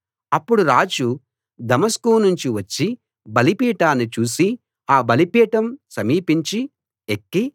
అప్పుడు రాజు దమస్కు నుంచి వచ్చి బలిపీఠాన్ని చూసి ఆ బలిపీఠం సమీపించి ఎక్కి